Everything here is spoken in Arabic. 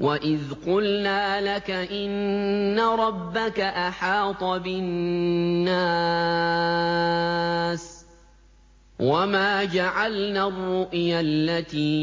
وَإِذْ قُلْنَا لَكَ إِنَّ رَبَّكَ أَحَاطَ بِالنَّاسِ ۚ وَمَا جَعَلْنَا الرُّؤْيَا الَّتِي